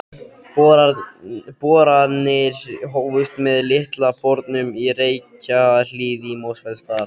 Boranir hófust með Litla bornum í Reykjahlíð í Mosfellsdal.